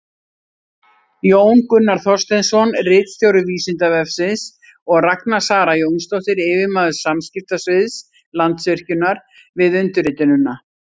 Jón Gunnar Þorsteinsson, ritstjóri Vísindavefsins, og Ragna Sara Jónsdóttir, yfirmaður samskiptasviðs Landsvirkjunar, við undirritunina.